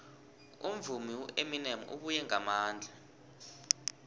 umvumi ueminem ubuye ngamandla